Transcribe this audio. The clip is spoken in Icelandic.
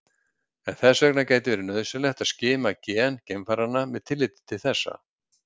En þess vegna gæti verið nauðsynlegt að skima gen geimfaranna með tilliti til þessa.